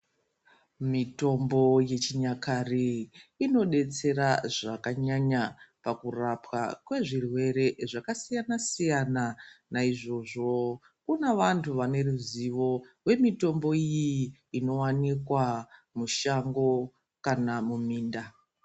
Mitombo yechinyakare inodetsera zvakanyanya pakurapwa kwezvirwere zvakasiyana siyana naizvozvo pane vantu vane ruzivo rwemitombo iyi inowanikwa mushango kana muminda.